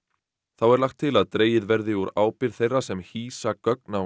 þá er lagt til að dregið verði úr ábyrgð þeirra sem hýsa gögn á